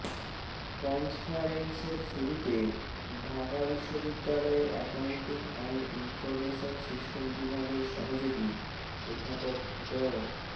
কন্সফারেন্সের শুরুতে ঢাকা বিশ্ববিদ্যালয়ের accounting and information system বিভাগের সহযোগী অধ্যাপক ড